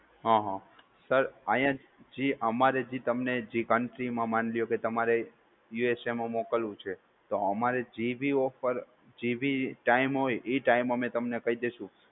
હઅ. સર આયા જે અમારે જે તમને જે country માં માની લ્યો કે તમારે USA માં મોકલવું છે તો અમારે જે બી offer જે બી time હોય એ ટાઈમ અમે તમને કહી દેશું.